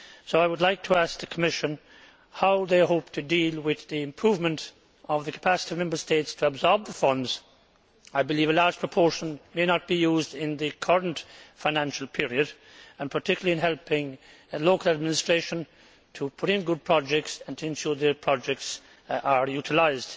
I would like to ask the Commission how it hopes to deal with improving the capacity of Member States to absorb the funds I believe a large proportion may not be used in the current financial period and particularly with helping local administrations put in good projects and to ensure their projects are utilised.